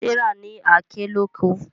Serah ní Àáké lọkọ.